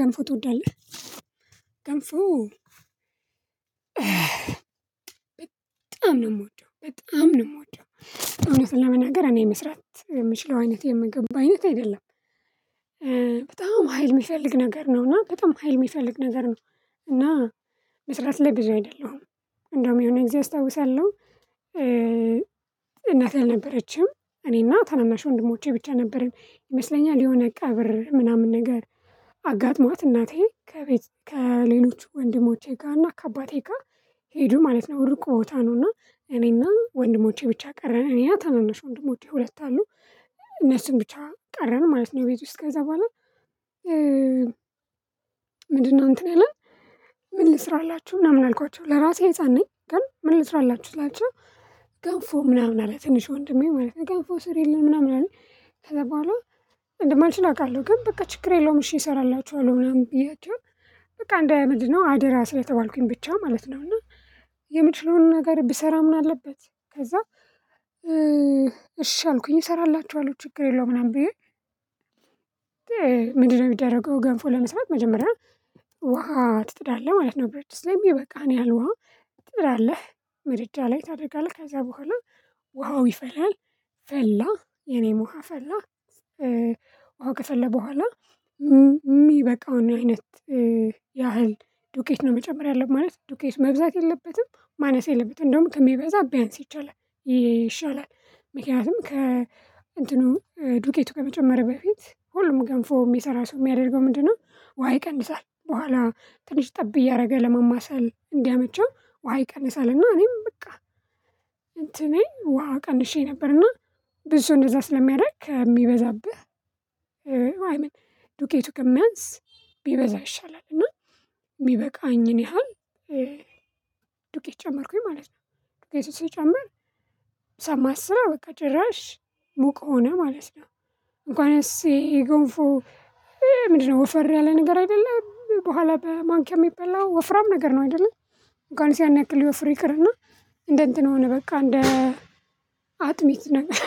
ገንፎ ትወዳለህ? ገንፎ በጣም ነው የምወደው በጣም ነው የምወደው። እውነትን ለመናገር እኔ መስራት የምችለው አይነት የምግብ አይነት አይደለም። በጣም ሀይል የሚፈልግ ነገር ነው እና በጣም ሀይል የሚፈልግ ነገር ነው። እና መስራት ለጊዜው አይደለሁም እንደውም የሆነ ጊዜ አስታውሳለሁ። እናት አልነበረችም እኔና ታናናሽ ወንድሞቼ ብቻ ነበረን ይመስለኛል የሆነ ቀብር ምናምን ነገር። አጋጥሟት እናቴ ከቤት ከሌሎች ወንድሞቼ ጋር እና ከአባቴ ጋር ሄዱ ማለት ነው። ርቆ ቦታ ነው እና እኔና ወንድሞቼ ብቻ ቀረን እኔና ታናናሽ ወንድሞቼ ሁለት አሉ። እነሱን ብቻ ቀረን ማለት ነው ቤት ውስጥ ከዛ በኋላ። ምንድነው እንትን ያለ? ምን ልስራላችሁ ምናምን አልኳቸው ለራሴ ህፃን ነኝ ግን ምን ልስራላችሁ ስላቸው። ገንፎ ምናምን አለ ትንሽ ወንድሜ ማለት ነው ገንፎ ስሪልን ምናምን አለ ከዛ በኋላ። እንደማልችል አውቃለሁ ግን በቃ ችግር የለውም እሺ እሰራላችኋለሁ ምናምን ብዬቸው። በቃ እንድምንድነው አደራ ስለተባልኩኝ ብቻ ማለት ነው። እና የምችለውን ነገር ብሰራ ምን አለበት? ከዛ እሺ አልኩኝ እሰራላችኋለሁ ችግር የለውም ምናምን ብዬ። ምንድነው የሚደረገው? ገንፎ ለመስራት መጀመሪያ ውሃ ትጥዳለህ ማለት ነው። በረት ድስት ላይ የሚበቃህን ያህል ውሃ ትጥዳለህ መድጃ ላይ ታደርጋለህ ከዛ በኋላ ውሃው ይፈላል። ፈላ የኔም ውሃ ፈላ። ውሃ ከፈለ በኋላ የሚበቃውን አይነት ያህል ዱቄት ነው መጨመር ያለብን ማለት ዱቄት መብዛት የለበትም። ማነስ የለበትም እንደውም ከሚበዛ ቢያንስ ይቻላል። ይሻላል ምክንያቱም ከ እንትኑ ዱቄቱ ከመጨመር በፊት ሁሉም ገንፎ የሚሰራ ሰው የሚያደርገው ምንድነው? ውሃ ይቀንሳል በኋላ ትንሽ ጠብ እያደረገ ለማማሰል እንዲያመቸው ውሃ ይቀንሳል እና እኔም በቃ። እንትኔ ውሃ ቀንሼ ነበርና ብዙ እንደዛ ስለሚያደርግ ከሚበዛብህ። ዱቄቱ ከሚያንስ ቢበዛ ይሻላል። እና የሚበቃኝን ያህል ዱቄት ጨመርኩኝ ማለት ነው። የት ውስጥ ልጨምር? ሰማስለው በቃ ጭራሽ ሙቅ ሆነ ማለት ነው። እንኳንስ ጎንፎ ይሄ ምንድነው ወፍራም ያለ ነገር አይደለም በኋላ በማንኪያ የሚበላው ወፍራም ነው አይደለ። እንኳንስ ያናክ ሊወፍር ይቅርና። እንደ እንትን ሆነ በቃ እንደ አጥሚት ነገር